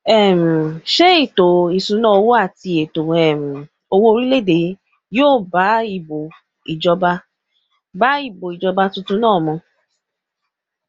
um ṣé ètò ìṣúnná owó àti ètò um owó orílẹèdè yìí yóò bá ìbò ìjọba bá ìbò ìjọba tuntun náà mu